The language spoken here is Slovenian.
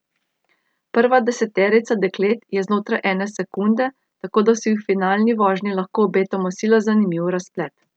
Prva deseterica deklet je znotraj ene sekunde, tako da si v finalni vožnji lahko obetamo sila zanimiv razplet.